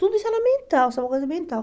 Tudo isso era mental, só uma coisa mental.